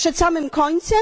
Przed samym końcem?